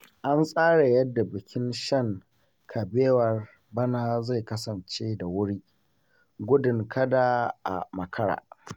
An tsara yadda bikin shan kabewar bana zai kasance da wuri, gudun kada a makara.